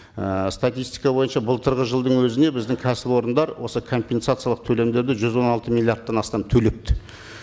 ііі статистика бойынша былтырғы жылдың өзіне біздің кәсіпорындар осы компенсациялық төлемдерді жүз он алты миллиардтан астам төлепті